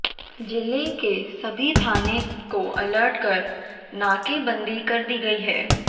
जिले के सभी थाने को अलर्ट कर नाकेबंदी कर दी गई है